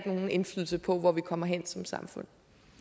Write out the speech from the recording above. nogen indflydelse på hvor vi kommer hen som samfund